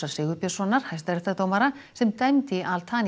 Sigurbjörnssonar hæstaréttardómara sem dæmdi í al